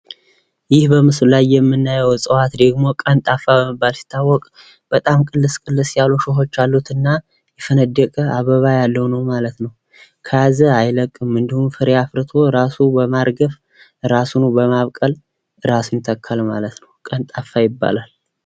ይህ በምስሉ ላይ የምናየው እጽዋት ደግሞ ቀንጣፋ በመባል ሲታወቅ በጣም ቅልስ ቅልስ ያሉ እሾሆች እና የፈነደቀ አበባያለው ነው ማለት ነው። ከያዘ አይለቅም። እንድሁም ፍሬ አፍርቶ ራሱን በማርገፍ ራሱን በማብቀል ራሱን ይተካል። ቀንጣፋ ይባላል።